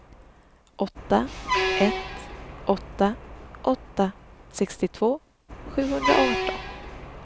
åtta ett åtta åtta sextiotvå sjuhundraarton